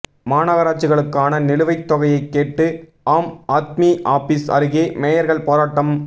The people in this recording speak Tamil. மாநகராட்சிகளுக்கான நிலுவைத்தொகையை கேட்டு ஆம் ஆத்மி ஆபீஸ் அருகே மேயர்கள் போராட்டம்